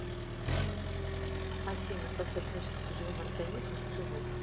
афина как ты относишься к живым организмам к животным